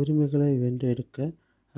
உரிமைகளை வென்றெடுக்க